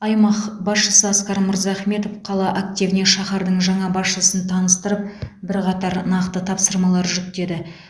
аймақ басшысы асқар мырзахметов қала активіне шаһардың жаңа басшысын таныстырып бірқатар нақты тапсырмалар жүктеді